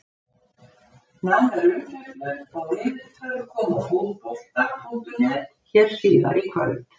Nánari umfjöllun og viðtöl koma á Fótbolta.net hér síðar í kvöld!